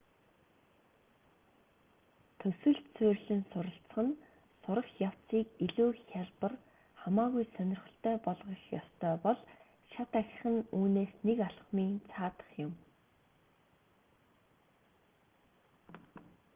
төсөлд суурилан суралцах нь сурах явцыг илүү хялбар хамаагүй сонирхолтой болгох ёстой бол шат ахих нь үүнээс нэг алхмын цаадах юм